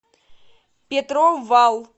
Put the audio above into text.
петров вал